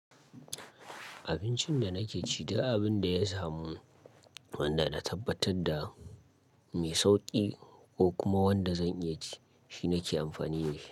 Abincin da nake ci, duk abin da ya samu wanda na tabbatar da mai sauƙi ko kuma wanda zan iya ci, shi nake amfani ne.